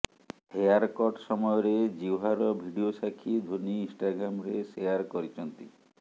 hair cut ସମୟରେ ଜ୍ୱିଭାର video Sakshi Dhoni ଇନ୍ଷ୍ଟାଗ୍ରାମରେ ସେୟାର କରିଛନ୍ତି